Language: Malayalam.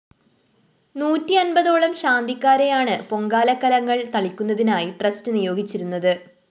നൂറ്റി അന്‍പതോളം ശാന്തിക്കാരെയാണ് പൊങ്കാലക്കലങ്ങള്‍ തളിക്കുന്നതിനായി ട്രസ്റ്റ്‌ നിയോഗിച്ചിരുന്നത്